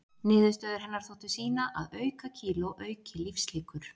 Niðurstöður hennar þóttu sýna að aukakíló auki lífslíkur.